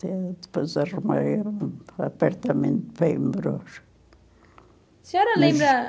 Eh, depois arrumei um apartamento para ir morar. A senhora lembra...